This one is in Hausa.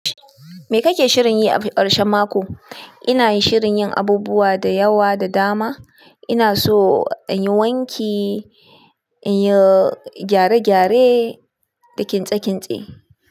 Me kake shirin yi a ƙarshen mako? Ina shirin yin abubuwa da yawa da dama. Ina so in yi wanki, in yi gyare-gyare, da kintse kintse.